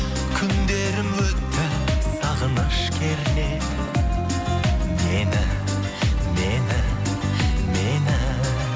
күндерім өтті сағыныш кернеп мені мені мені